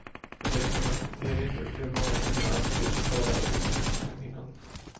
Under klimakteriet upplever många kvinnor att de blir torra i munslemhinnan.